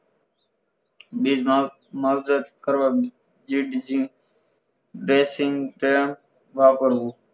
બીજ નો માવજત કરવા બેસિગ વાપરવું